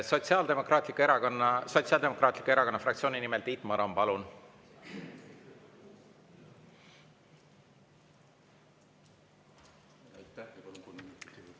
Sotsiaaldemokraatliku Erakonna fraktsiooni nimel Tiit Maran, palun!